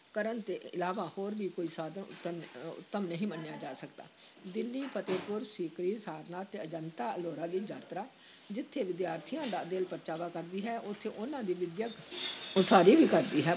ਕਰਨ ਤੋਂ ਇਲਾਵਾ ਹੋਰ ਵੀ ਕੋਈ ਸਾਧਨ ਉਤਮ ਉੱਤਮ ਨਹੀਂ ਮੰਨਿਆ ਜਾ ਸਕਦਾ, ਦਿੱਲੀ ਫਤਹਿਪੁਰ ਸੀਕਰੀ, ਸਾਰਨਾਥ ਤੇ ਅਜੰਤਾ-ਅਲੋਰਾ ਦੀ ਯਾਤਰਾ ਜਿੱਥੇ ਵਿਦਿਆਰਥੀਆਂ ਦਾ ਦਿਲ ਪਰਚਾਵਾ ਕਰਦੀ ਹੈ, ਉੱਥੇ ਉਨ੍ਹਾਂ ਦੀ ਵਿੱਦਿਅਕ ਉਸਾਰੀ ਵੀ ਕਰਦੀ ਹੈ।